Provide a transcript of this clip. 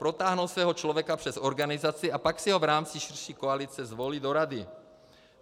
Protáhnou svého člověka přes organizaci a pak si ho v rámci širší koalice zvolí do rady.